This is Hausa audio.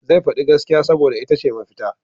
Zai faɗi gaskiya saboda ita ce mafita.